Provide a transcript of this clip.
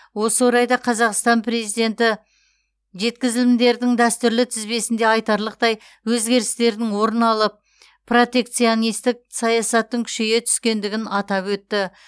осы орайда қазақстан президенті жеткізілімдердің дәстүрлі тізбесінде айтарлықтай өзгерістердің орын алып протекционистік саясаттың күшейе түскендігін атап өтті